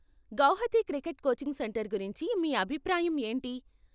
Guwahati cricket coaching centre గురించి మీ అభిప్రాయం ఏంటి?